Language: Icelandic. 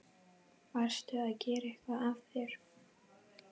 Varstu að gera eitthvað af þér?